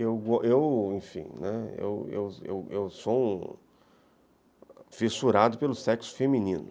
Eu, eu eu, enfim, eu sou um fissurado pelo sexo feminino.